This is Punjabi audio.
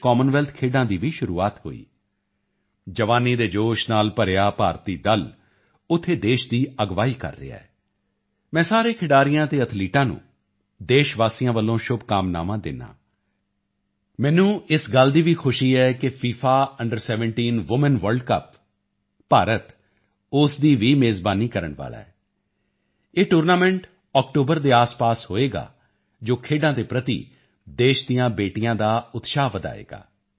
ਵਿੱਚ ਕਾਮਨਵੈਲਥ ਖੇਡਾਂ ਦੀ ਵੀ ਸ਼ੁਰੂਆਤ ਹੋਈ ਜਵਾਨੀ ਦੇ ਜੋਸ਼ ਨਾਲ ਭਰਿਆ ਭਾਰਤੀ ਦਲ ਉੱਥੇ ਦੇਸ਼ ਦੀ ਅਗਵਾਈ ਕਰ ਰਿਹਾ ਹੈ ਮੈਂ ਸਾਰੇ ਖਿਡਾਰੀਆਂ ਅਤੇ ਐਥਲੀਟਾਂ ਨੂੰ ਦੇਸ਼ਵਾਸੀਆਂ ਵੱਲੋਂ ਸ਼ੁਭਕਾਮਨਾਵਾਂ ਦਿੰਦਾ ਹਾਂ ਮੈਨੂੰ ਇਸ ਗੱਲ ਦੀ ਵੀ ਖੁਸ਼ੀ ਹੈ ਕਿ ਫੀਫਾ ਅੰਡਰ17 ਵੂਮੈਨ ਵਰਲਡ ਕੱਪ ਭਾਰਤ ਉਸ ਦੀ ਵੀ ਮੇਜ਼ਬਾਨੀ ਕਰਨ ਵਾਲਾ ਹੈ ਇਹ ਟੂਰਨਾਮੈਂਟ ਅਕਤੂਬਰ ਦੇ ਆਸਪਾਸ ਹੋਵੇਗਾ ਜੋ ਖੇਡਾਂ ਦੇ ਪ੍ਰਤੀ ਦੇਸ਼ ਦੀਆਂ ਬੇਟੀਆਂ ਦਾ ਉਤਸ਼ਾਹ ਵਧਾਏਗਾ